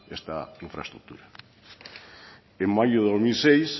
esta infraestructura en mayo de dos mil seis